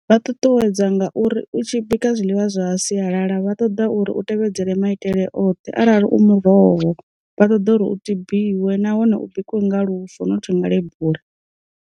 Vha ṱuṱuwedza ngauri u tshi bika zwiḽiwa zwa sialala vha ṱoḓa uri u tevhedzele maitele oṱhe arali u muroho, vha ṱoḓa uri u tibiwe nahone u bikiwa nga lufo nothi nga ḽe bula.